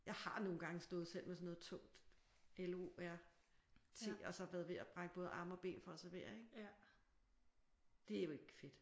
Jeg har nogle gange stået selv med sådan noget tungt l o r t og så været ved at brække både arme og ben for at servere. Det er jo ikke fedt